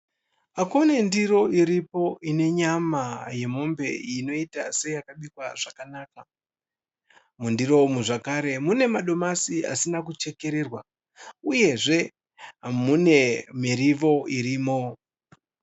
Kune ndiro iripo ine nyama yemombe inoita seyakabikwa zvakanaka. Mundiro umu zvakare mune madomasi asina kuchekererwa uyezve mune mirivo irimo.